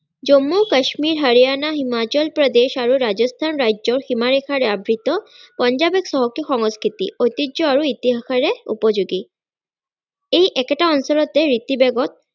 জন্মু কাশ্মীৰ হাৰিয়ানা হিমাচল প্ৰদেশ আৰু ৰাজস্থান ৰাজ্যৰ সীমাৰেখাৰে আবৃত পঞ্জাৱ এক চহকী সংস্কৃতি ঐতিহ্য আৰু ইতিহাসেৰে উপযোগী এই একেটা অঞ্চলতে ঋ